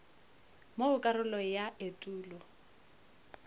mo go karolo ya etulo